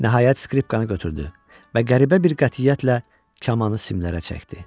Nəhayət skripkanı götürdü və qəribə bir qətiyyətlə kamanı simlərə çəkdi.